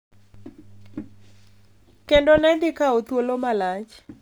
Kendo ne dhi kawo thuolo malach.